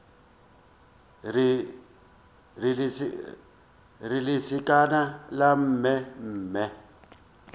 re lesekana la mme mme